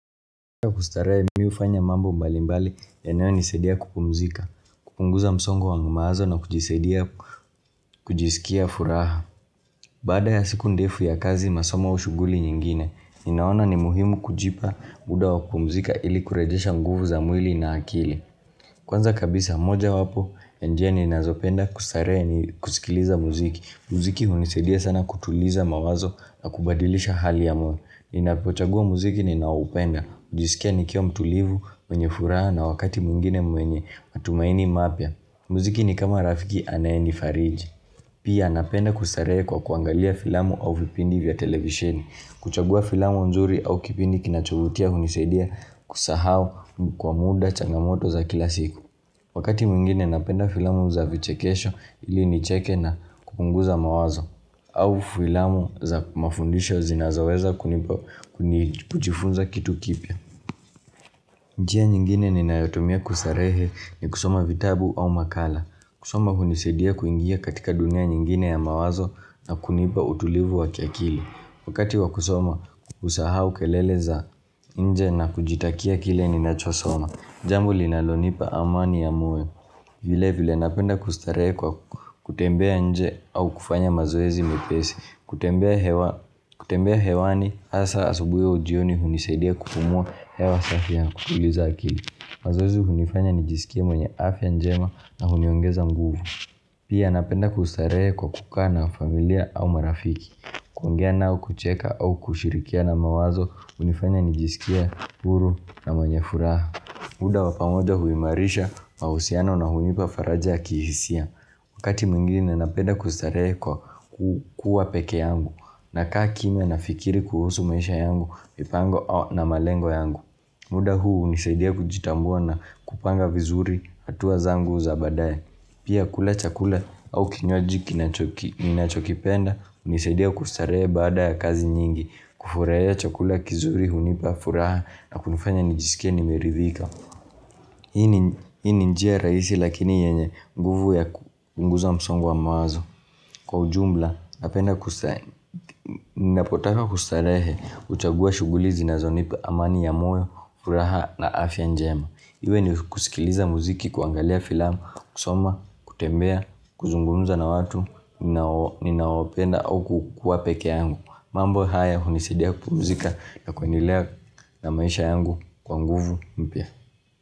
Kustarehe mimi hufanya mambo mbali mbali yanayonisaidia kupumzika, kupunguza msongo wa mawazo na kujisikia furaha. Baada ya siku ndefu ya kazi masomo au shughuli nyingine, ninaona ni muhimu kujipa muda wa kupumzika ili kurejesha nguvu za mwili na akili. Kwanza kabisa moja wapo, ya njia ninazopenda kustarehe ni kusikiliza muziki. Mziki hunisaidia sana kutuliza mawazo na kubadilisha hali ya moyo. Ninapochagua muziki ninoupenda, hujisikia nikiwa mtulivu, mwenye furaha na wakati mwingine mwenye matumaini mapya Muziki ni kama rafiki anayenifariji Pia napenda kustarehe kwa kuangalia filamu au vipindi vya televisheni kuchagua filamu nzuri au kipindi kinachovutia hunisaidia kusahau kwa muda changamoto za kila siku Wakati mwingine napenda filamu za vichekesho ili nicheke na kupunguza mawazo au filamu za mafundisho zinazoweza kunipa kujifunza kitu kipya. Njia nyingine ninayotumia kustarehe ni kusoma vitabu au makala. Kusoma hunisaidia kuingia katika dunia nyingine ya mawazo na kunipa utulivu wa kiakili. Wakati wa kusoma usahau kelele za nje na kujitakia kile ninachosoma. Jambo linalonipa amani ya moyo vile vile napenda kustarehe kwa kutembea nje au kufanya mazoezi mepesi kutembea hewani hasa asubuhi au jioni hunisaidia kupumua hewa safi ya kutuliza akili mazoezi hunifanya nijisikie mwenye afya njema na huniongeza nguvu pia napenda kustarehe kwa kukaa na familia au marafiki kuongia nao kucheka au kushirikiana mawazo hunifanya nijisikie huru na mwenye furaha muda wa pamoja huimarisha mahusiano na hunipa faraja ya kihisia Wakati mwingine napenda kustarehe kwa kuwa pekeyangu nakaa kimya nafikiri kuhusu maisha yangu mipango na malengo yangu muda huu hunisaidia kujitambua na kupanga vizuri hatua zangu za baadae Pia kula chakula au kinywaji ninachokipenda hunisaidia kustarehe baada ya kazi nyingi kufurahia chakula kizuri hunipa furaha na kunifanya nijisikie nimeridhika Hii ni njia rahisi lakini yenye nguvu ya kupunguza msongo wa mawazo. Kwa ujumla, napenda napotaka kustarehe, huchagua shughuli zinazonipa amani ya moyo, furaha na afya njema. Iwe ni kusikiliza muziki, kuangalia filamu, kusoma, kutembea, kuzungumza na watu, ninaopenda au kukua peke yangu. Mambo haya, hunisidia kupumzika na kuendelea na maisha yangu kwa nguvu mpya.